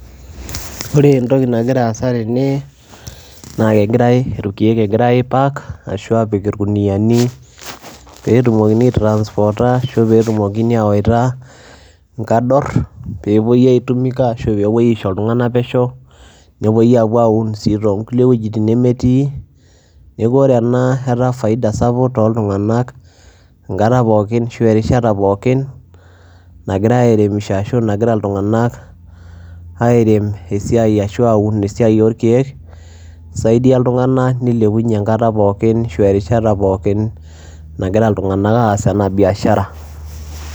Ore entoki nagira aasa tene naa kegirai irkeek egirai aipack ashu aapik irkuniani peetumokini aitransporta ashu peetumokini ayawaita nkador peepui aitumika ashu peepuoi aisho iltung'anak pesho, nepuoi aapuo aaun sii too nkulie wojitin nemetii. Neeku ore ena etaa faida sapuk toltung'anak enkata pookin ashu erishata pookin nagirai airemisho ashu nagira iltung'anak airem esiai ashu aun esiai orkeek, isaidia iltung'anak nilepunye enkata pookin ashu erishata pookin nagira iltung'anak aas ena biashara.